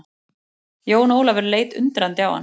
Jón Ólafur leit undrandi á hann.